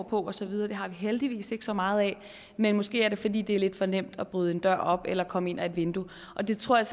på og så videre det har vi heldigvis ikke så meget af men måske er det fordi det er lidt for nemt at bryde en dør op eller komme ind ad et vindue og det tror jeg